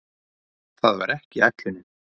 Það var ekki ætlunin.